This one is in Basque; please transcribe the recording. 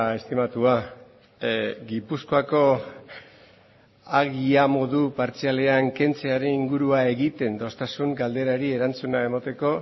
estimatua gipuzkoako agia modu partzialean kentzearen ingurua egiten dostazun galderari erantzuna emateko